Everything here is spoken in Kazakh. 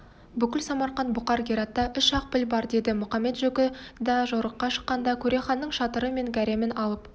бүкіл самарқант бұқар гератта үш-ақ піл бар деді мұқамет-жөкі да жорыққа шыққанда көреханның шатыры мен гаремін алып